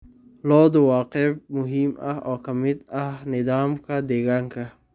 Lo'du waa qayb muhiim ah oo ka mid ah nidaamka deegaanka.